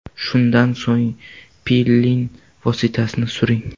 Shundan so‘ng piling vositasini suring.